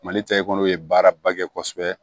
Mali ta ekɔli ye baaraba kɛ kosɛbɛ